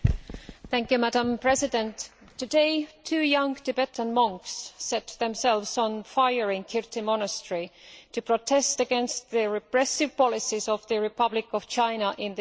Madam President, today two young Tibetan monks set themselves on fire in Kirti monastery to protest against the repressive policies of the Republic of China in the area.